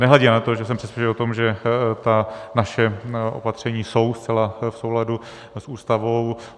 Nehledě na to, že jsem přesvědčený o tom, že ta naše opatření jsou zcela v souladu s Ústavou.